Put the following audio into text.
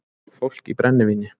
Fólk í brennivíni